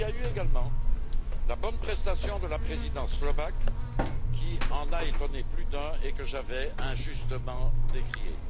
Il y a eu également la bonne prestation de la Présidence slovaque, qui en a étonné plus d'un et que j'avais injustement décriée.